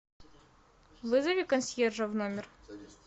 вызови консьержа в номер